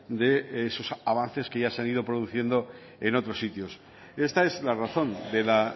de esos avances que ya se han ido produciendo en otros sitios esta es la razón de la